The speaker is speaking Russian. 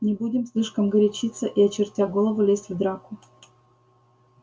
не будем слишком горячиться и очертя голову лезть в драку